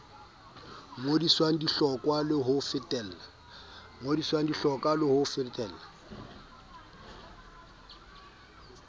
ngodiswang di hlokwa ho lefella